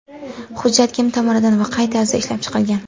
Hujjat kim tomonidan va qay tarzda ishlab chiqilgan?